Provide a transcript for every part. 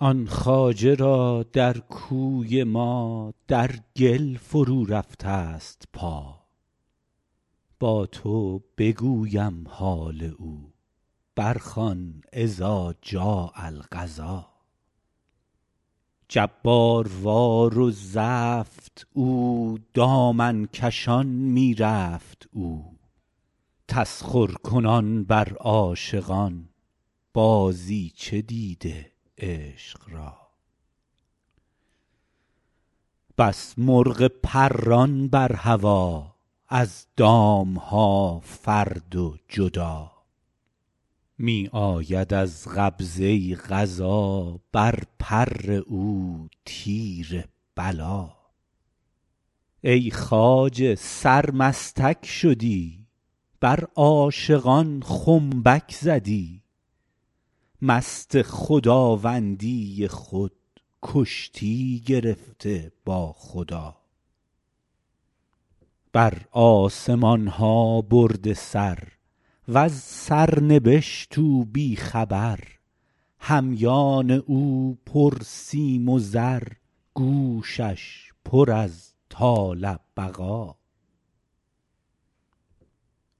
آن خواجه را در کوی ما در گل فرورفته ست پا با تو بگویم حال او برخوان اذا جاء القضا جباروار و زفت او دامن کشان می رفت او تسخرکنان بر عاشقان بازیچه دیده عشق را بس مرغ پران بر هوا از دام ها فرد و جدا می آید از قبضه قضا بر پر او تیر بلا ای خواجه سرمستک شدی بر عاشقان خنبک زدی مست خداوندی خود کشتی گرفتی با خدا بر آسمان ها برده سر وز سرنبشت او بی خبر همیان او پرسیم و زر گوشش پر از طال بقا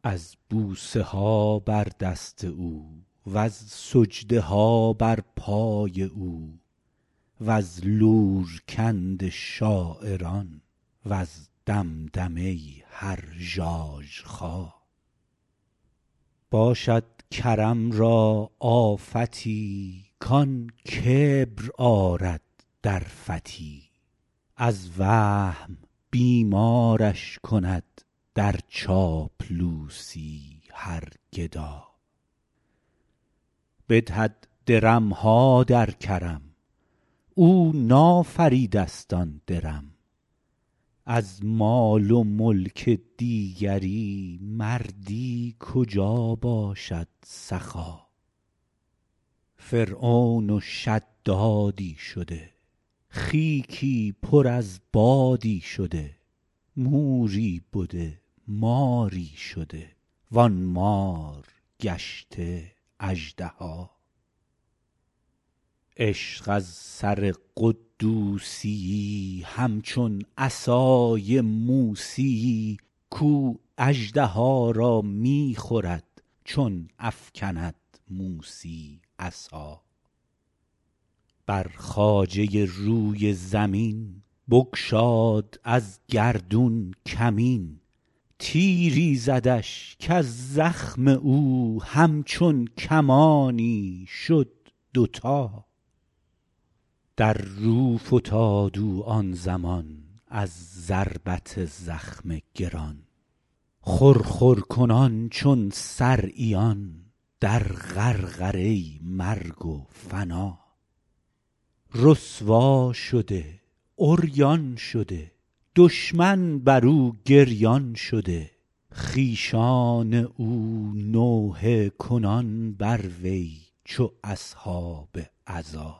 از بوسه ها بر دست او وز سجده ها بر پای او وز لورکند شاعران وز دمدمه هر ژاژخا باشد کرم را آفتی کان کبر آرد در فتی از وهم بیمارش کند در چاپلوسی هر گدا بدهد درم ها در کرم او نافریده ست آن درم از مال و ملک دیگری مردی کجا باشد سخا فرعون و شدادی شده خیکی پر از بادی شده موری بده ماری شده وان مار گشته اژدها عشق از سر قدوسی یی همچون عصای موسی یی کاو اژدها را می خورد چون افکند موسی عصا بر خواجه روی زمین بگشاد از گردون کمین تیری زدش کز زخم او همچون کمانی شد دوتا در رو فتاد او آن زمان از ضربت زخم گران خرخر کنان چون صرعیان در غرغره مرگ و فنا رسوا شده عریان شده دشمن بر او گریان شده خویشان او نوحه کنان بر وی چو اصحاب عزا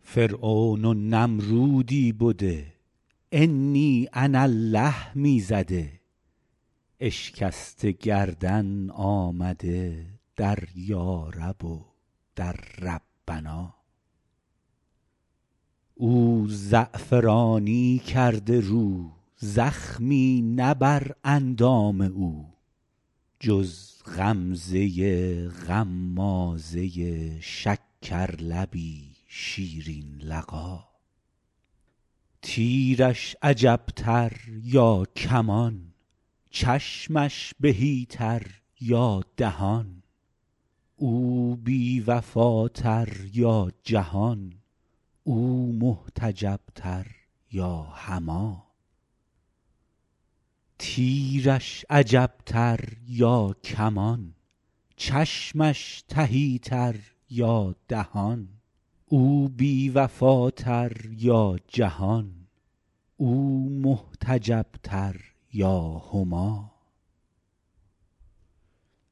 فرعون و نمرودی بده انی انا الله می زده اشکسته گردن آمده در یارب و در ربنا او زعفرانی کرده رو زخمی نه بر اندام او جز غمزه غمازه ای شکرلبی شیرین لقا تیرش عجب تر یا کمان چشمش تهی تر یا دهان او بی وفاتر یا جهان او محتجب تر یا هما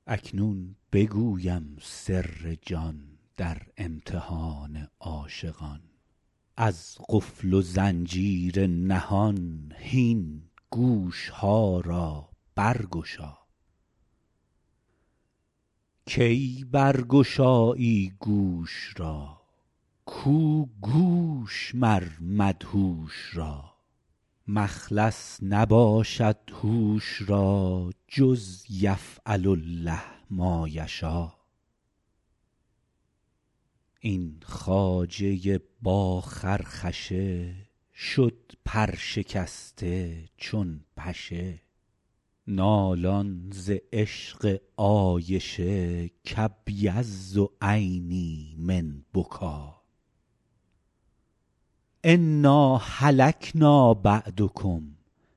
اکنون بگویم سر جان در امتحان عاشقان از قفل و زنجیر نهان هین گوش ها را برگشا کی برگشایی گوش را کو گوش مر مدهوش را مخلص نباشد هوش را جز یفعل الله ما یشا این خواجه با خرخشه شد پرشکسته چون پشه نالان ز عشق عایشه کابیض عینی من بکا انا هلکنا بعدکم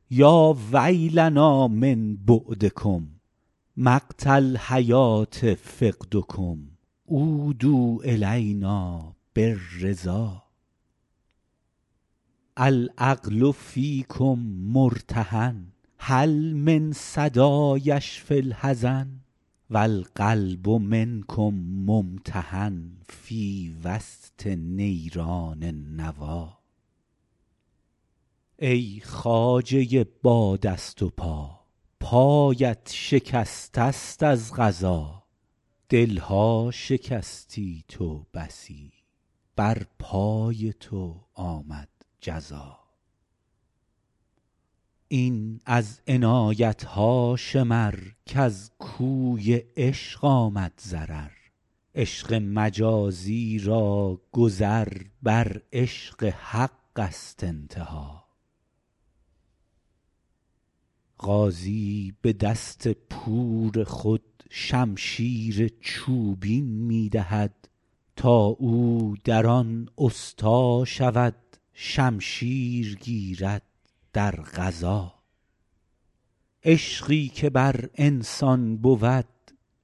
یا ویلنا من بعدکم مقت الحیوه فقدکم عودوا الینا بالرضا العقل فیکم مرتهن هل من صدا یشفی الحزن و القلب منکم ممتحن فی وسط نیران النوی ای خواجه با دست و پا پایت شکسته ست از قضا دل ها شکستی تو بسی بر پای تو آمد جزا این از عنایت ها شمر کز کوی عشق آمد ضرر عشق مجازی را گذر بر عشق حق ست انتها غازی به دست پور خود شمشیر چوبین می دهد تا او در آن استا شود شمشیر گیرد در غزا عشقی که بر انسان بود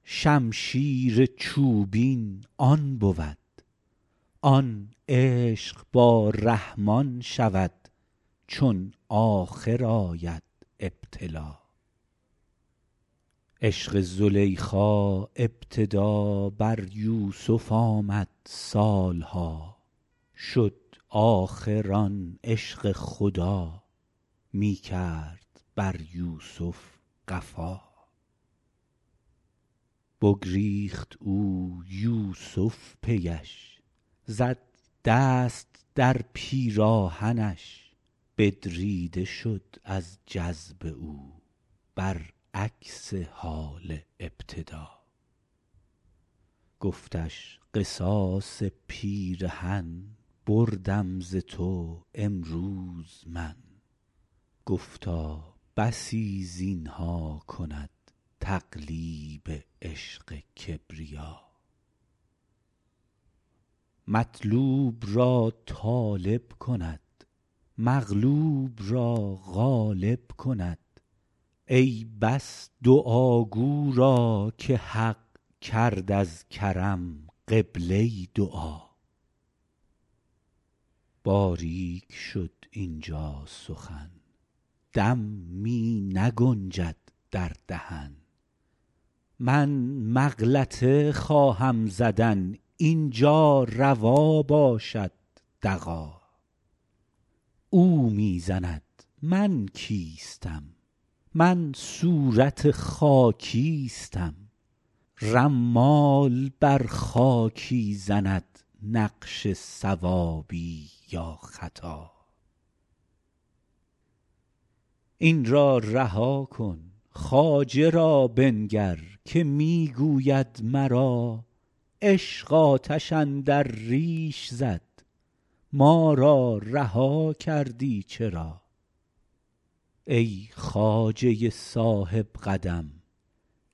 شمشیر چوبین آن بود آن عشق با رحمان شود چون آخر آید ابتلا عشق زلیخا ابتدا بر یوسف آمد سال ها شد آخر آن عشق خدا می کرد بر یوسف قفا بگریخت او یوسف پی اش زد دست در پیراهنش بدریده شد از جذب او برعکس حال ابتدا گفتش قصاص پیرهن بردم ز تو امروز من گفتا بسی زین ها کند تقلیب عشق کبریا مطلوب را طالب کند مغلوب را غالب کند ای بس دعاگو را که حق کرد از کرم قبله دعا باریک شد اینجا سخن دم می نگنجد در دهن من مغلطه خواهم زدن این جا روا باشد دغا او می زند من کیستم من صورتم خاکیستم رمال بر خاکی زند نقش صوابی یا خطا این را رها کن خواجه را بنگر که می گوید مرا عشق آتش اندر ریش زد ما را رها کردی چرا ای خواجه صاحب قدم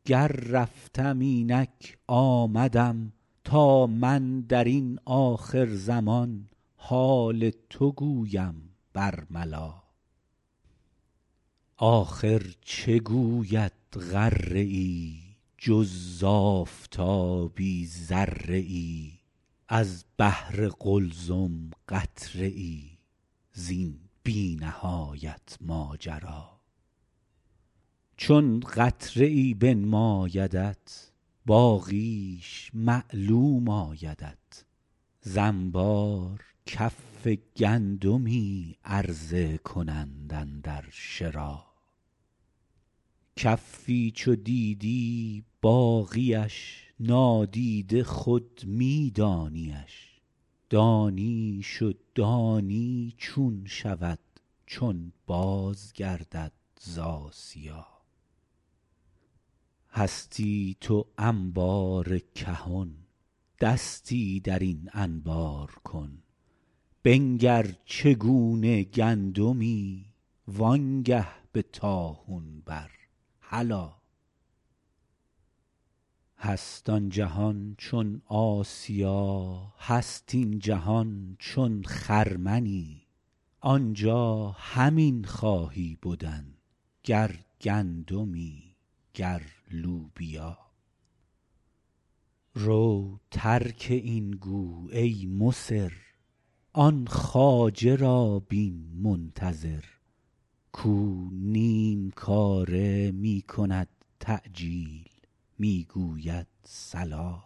گر رفتم اینک آمدم تا من در این آخرزمان حال تو گویم برملا آخر چه گوید غره ای جز ز آفتابی ذره ای از بحر قلزم قطره ای زین بی نهایت ماجرا چون قطره ای بنمایدت باقیش معلوم آیدت ز انبار کف گندمی عرضه کنند اندر شرا کفی چو دیدی باقی اش نادیده خود می دانی اش دانیش و دانی چون شود چون بازگردد ز آسیا هستی تو انبار کهن دستی در این انبار کن بنگر چگونه گندمی وانگه به طاحون بر هلا هست آن جهان چون آسیا هست این جهان چون خرمنی آنجا همین خواهی بدن گر گندمی گر لوبیا رو ترک این گو ای مصر آن خواجه را بین منتظر کاو نیم کاره می کند تعجیل می گوید صلا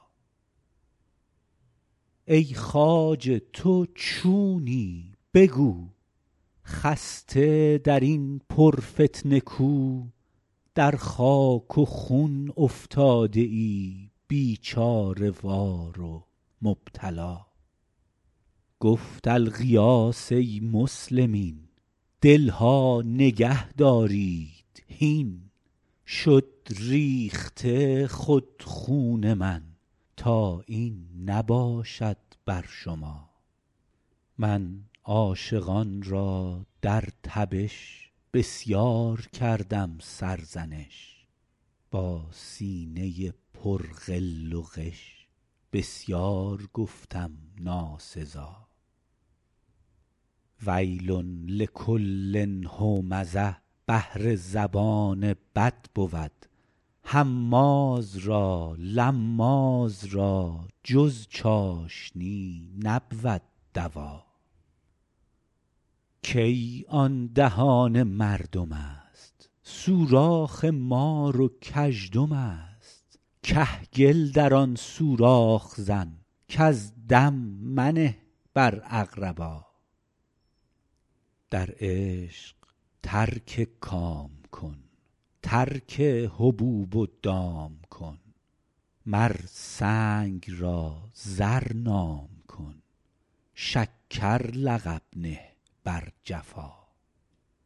ای خواجه تو چونی بگو خسته در این پرفتنه کو در خاک و خون افتاده ای بیچاره وار و مبتلا گفت الغیاث ای مسلمین دل ها نگهدارید هین شد ریخته خود خون من تا این نباشد بر شما من عاشقان را در تبش بسیار کردم سرزنش با سینه پر غل و غش بسیار گفتم ناسزا ویل لکل همزه بهر زبان بد بود هماز را لماز را جز چاشنی نبود دوا کی آن دهان مردم است سوراخ مار و کژدم است کهگل در آن سوراخ زن کزدم منه بر اقربا در عشق ترک کام کن ترک حبوب و دام کن مر سنگ را زر نام کن شکر لقب نه بر جفا